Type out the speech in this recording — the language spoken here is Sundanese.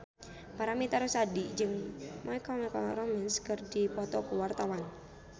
Paramitha Rusady jeung My Chemical Romance keur dipoto ku wartawan